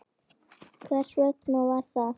Hvers vegna var það?